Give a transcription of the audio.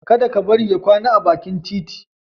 Kada ka bari ya kwana a bakin titi.